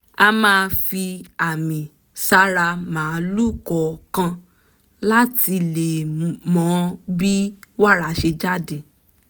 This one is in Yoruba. a máa fi àmì sára màlúù kọ̀ọ̀kan láti lè mọ bí wàrà ṣe jáde